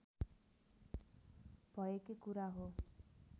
भएकै कुरा हो